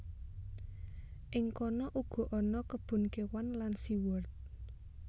Ing kono uga ana kebon kéwan lan sea world